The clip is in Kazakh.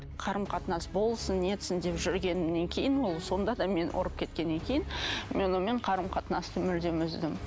қарым қатынас болсын нетсін деп жүргеннен кейін ол сонда да мені ұрып кеткеннен кейін мен онымен қарым қатынасты мүлдем үздім